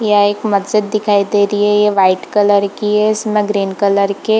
यह एक मस्जिद दिखाई दे रही है व्हाइट कलर की है इसमें ग्रीन कलर के --